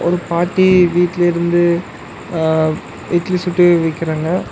பாட்டி வீட்ல இருந்து அ இட்லி சுட்டு விக்கிறாங்க.